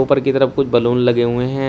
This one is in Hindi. ऊपर की तरफ कुछ बलून लगे हुए हैं